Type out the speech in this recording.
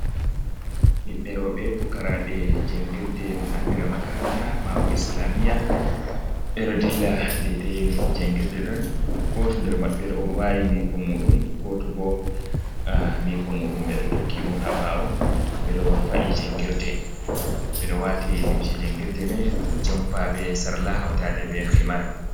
Ɓiɓɓe roɓɓe fukarabe jangirde ɗum andira makaranta mabo islamia, ɓe ɗo dilla dedai jangirde ɗon goto nder maɓɓe ɗo wayi miko muɗum, goto bo miko muɗum me ɗo tokki ɗum ha ɓawo, ɓe ɗo fa’i jangirde ɓeɗo wati limce jangirde mai o jampa be sarla, hautaɗe be himar.